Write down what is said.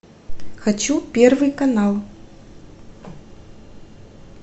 хочу первый канал